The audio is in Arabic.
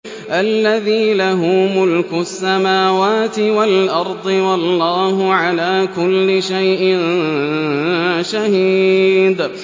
الَّذِي لَهُ مُلْكُ السَّمَاوَاتِ وَالْأَرْضِ ۚ وَاللَّهُ عَلَىٰ كُلِّ شَيْءٍ شَهِيدٌ